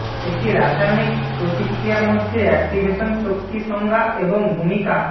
একটি রাসায়নিক প্রতিক্রিয়া মধ্যে অ্যাক্টিভেশন শক্তি সংজ্ঞা এবং ভূমিকা